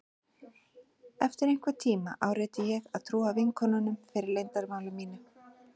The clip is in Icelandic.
Eftir einhvern tíma áræddi ég að trúa vinkonunum fyrir leyndarmáli mínu.